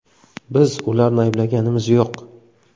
Biz ularni ayblayotganimiz yo‘q.